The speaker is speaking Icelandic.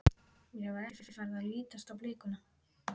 Mér var ekki farið að lítast á blikuna.